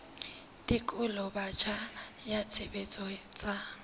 tekolo botjha ya tshebetso tsa